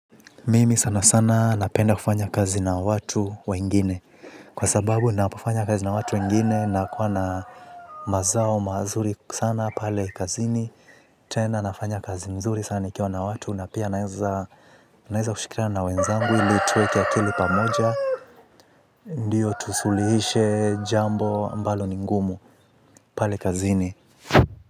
Mimi sana sana napenda kufanya kazi na watu wengine kwa sababu napofanya kazi na watu wengine na kuwa na mazao mazuri sana pale kazini. Tena nafanya kazi nzuri sana nikiwa na watu na pia naweza naweza kushikana na wenzangu ili tuweke akili pamoja. Ndio tusuluhishe jambo ambalo ni ngumu pale kazini.